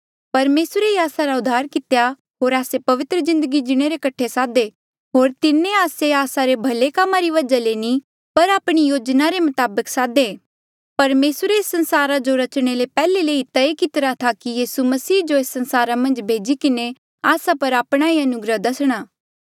परमेसरे ही आस्सा रा उद्धार कितेया होर आस्से पवित्र जिन्दगी जीणे रे कठे सादे होर तिन्हें आस्से आस्सा रे भले कामा री वजहा ले नी पर आपणी योजना रे मताबक सादेया परमेसरे एस संसारा जो रचणे ले पैहले ही तय करी लितिरा था कि यीसू मसीह जो एस संसारा मन्झ भेजी किन्हें आस्सा पर आपणा ये अनुग्रह दसणा